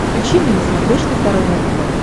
включи мне на смотрешке здоровое тв